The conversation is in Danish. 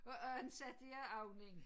Og anden satte jeg ovnen